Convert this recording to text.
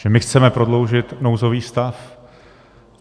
Že my chceme prodloužit nouzový stav!